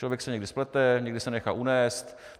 Člověk se někdy splete, někdy se nechá unést.